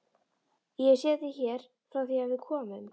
Ég hef setið hér frá því að við komum.